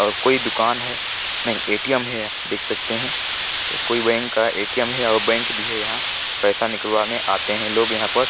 कोई दुकान है नहीं एटीएम है देख सकते हैकोईँ बैंक का एटीएम है बैंक भी है यहाँ पैसा निकले आते है यहाँ पर--